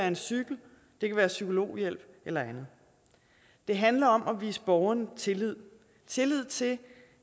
en cykel det kan være psykologhjælp eller andet det handler om at vise borgeren tillid tillid til